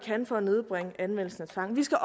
kan for at nedbringe anvendelsen af tvang vi skal